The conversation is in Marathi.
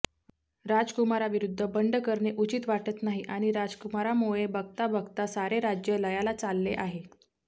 राजकुमाराविरुद्ध बंड करणे उचित वाटत नाही आणि राजकुमारामुळे बघताबघता सारे राज्य लयाला चालले आहे